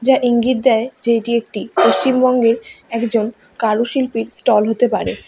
এটা ইঙ্গিত দেয় যে এটি একটি পশ্চিমবঙ্গের একজন কারুশিল্পীর স্টল হতে পারে।